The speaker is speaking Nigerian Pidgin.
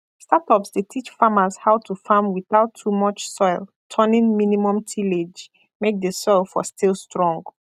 startups dey teach farmers how to farm without too much soil turning minimum tillage make the soil for still strong